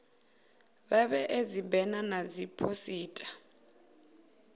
vha vhee dzibena na dziphosita